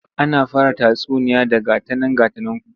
Ana fara tatsuniya da 'Ga ta nan ga ta nanku'